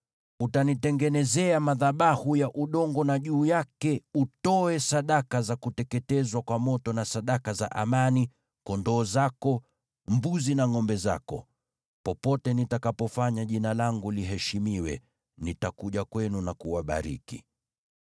“ ‘Utanitengenezea madhabahu ya udongo, na juu yake utoe sadaka za kuteketezwa kwa moto na sadaka za amani, kondoo zako, mbuzi na ngʼombe zako. Popote nitakapofanya Jina langu liheshimiwe, nitakuja kwenu na kuwabariki.